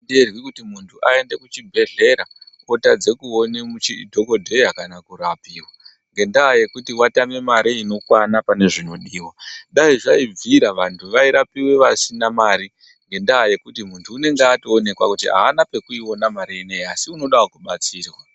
...nderwi kuti muntu aende kuchibhedhlera otadze kuone dhakodheya kana kurapiwa ngendaa yekuti watame mare inokwana pane zvinodiwa. Dai zvaibvira vantu vairapiwe vasina mare ngendaa yekuti muntu unenge atoonekwa kuti haana pekuiona mare ineyii asi unodawo kubatsirwa.